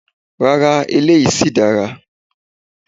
Rara, eléyìí sí dára.